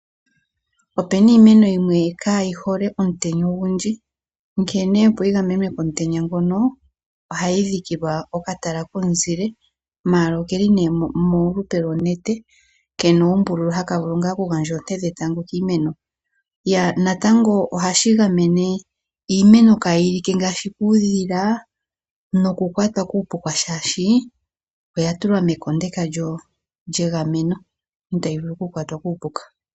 Opuna iimeno yimwe kayi hole omutenya ogundji, onkene opo yi gamenwe komutenya ngoka, ohayi dhikilwa oka tala komuzile mala okeli me molupe lo nete, kena uumbululu haka vulu ngah oku gandja oonte dhetango kiimeno, natango ohashi gamene iimeno kayi like ngashi kuudhila noku kwatwa kuupuka, shashi oya tulwa mekondeka lye gameno, itayi vulu oku kwatwa kuupuka.